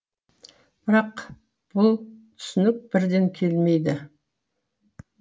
бірақ бұл түсінік бірден келмейді